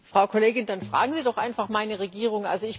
Frau Kollegin, dann fragen Sie doch einfach meine Regierung.